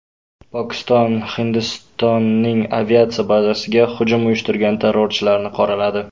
Pokiston Hindistonning aviatsiya bazasiga hujum uyushtirgan terrorchilarni qoraladi.